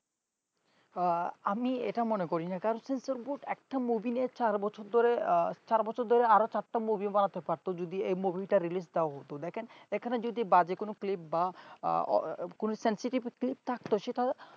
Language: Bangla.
আমি এটা মনে করি না কারণ censer borad একটা movie নিয়ে চার বছর ধরে চার বছর ধরে আরো চারটা movie বানাতে পারতো তো যদি এই movie টা release দেওয়া হত দেখেন এখানে যদি বাজে কোন clip বা কোন sensative clip থাকতো সেটাও